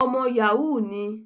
Ọmọ Yahoo ni